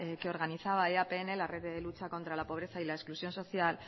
que organizaba eapn la red de lucha contra la pobreza y la exclusión social